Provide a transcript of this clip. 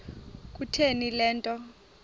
kutheni le nto